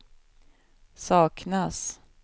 saknas